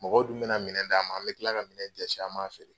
Mɔgɔw dun bena minɛn d'an ma. An be tila ka minɛn dɛsi, an m'a feere.